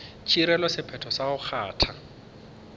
tšerego sephetho sa go kgatha